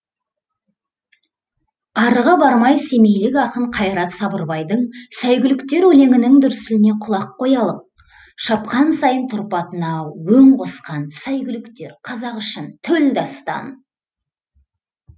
арыға бармай семейлік ақын қайрат сабырбайдың сәйгүліктер өлеңінің дүрсіліне құлақ қоялық шапқан сайын тұрпатына өң қосқан сәйгүліктер қазақ үшін төл дастан